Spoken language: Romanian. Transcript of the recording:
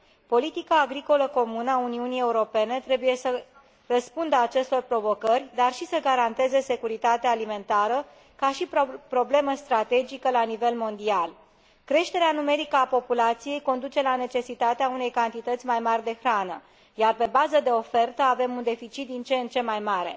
Politica agricolă comună a Uniunii Europene trebuie să răspundă acestor provocări, dar și să garanteze securitatea alimentară, ca și problemă strategică la nivel mondial Creșterea numerică a populației conduce la necesitatea unei cantități mai mari de hrană, iar pe bază de ofertă avem un deficit din ce în ce mai mare.